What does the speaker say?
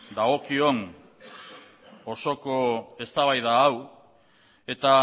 dagokion osoko eztabaida hau eta